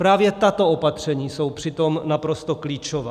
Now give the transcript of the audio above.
Právě tato opatření jsou přitom naprosto klíčová.